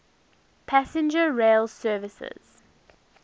passenger rail services